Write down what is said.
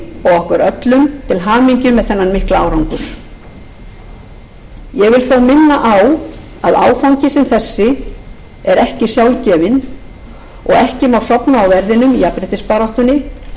okkur öllum til hamingju með þennan mikla árangur ég vil þó minna á að áfangi sem þessi er ekki sjálfgefinn og ekki má sofna á verðinum í jafnréttisbaráttunni til að halda honum